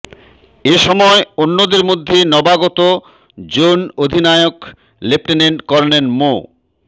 এ সময় অন্যদের মধ্যে নবাগত জোন অধিনায়ক লেফটেন্যান্ট কর্নেল মো